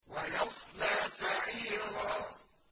وَيَصْلَىٰ سَعِيرًا